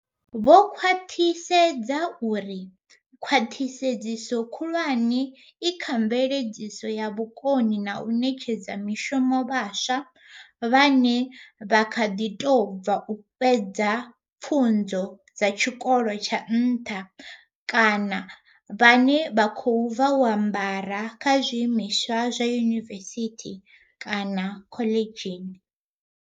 Vho khwaṱhisedza u ri, Khwaṱhisedzo khulwane i kha mveledziso ya vhukoni na u ṋetshedza mishumo vhaswa vhane vha kha ḓi tou bva u fhedza pfunzo dza tshikolo tsha nṱha kana vhane vha khou bva u ambara kha zwiimiswa zwa yunivesithi kana khoḽidzhini.